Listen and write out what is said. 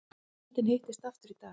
Nefndin hittist aftur í dag